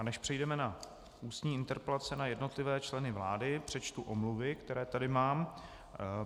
A než přejdeme na ústní interpelace na jednotlivé členy vlády, přečtu omluvy, které tady mám.